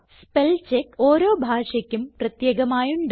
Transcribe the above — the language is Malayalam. സ്പെൽചെക്ക് ഓരോ ഭാഷയ്ക്കും പ്രത്യേകമായുണ്ട്